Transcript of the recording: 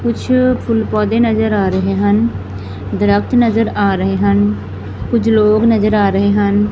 ਕੁਛ ਫੁੱਲ ਪੌਧੇ ਨਜ਼ਰ ਆ ਰਹੇ ਹਨ ਦਰਖਤ ਨਜ਼ਰ ਆ ਰਹੇ ਹਨ ਕੁਝ ਲੋਕ ਨਜ਼ਰ ਆ ਰਹੇ ਹਨ।